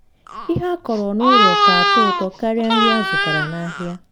ihe akọrọ n'ụlọ ka atọ ụtọ karịa nri azụtara n'ahịa.